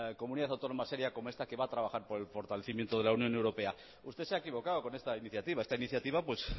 comunidad autónoma seria como esta que va a trabajar por el fortalecimiento de la unión europea usted se ha equivocado con esta iniciativa esta iniciativa pues